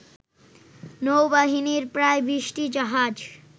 নৌবাহিনীর প্রায় ২০টি জাহাজ